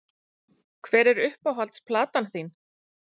Hver er uppáhalds platan þín????